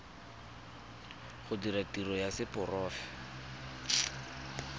go dira tiro ya seporofe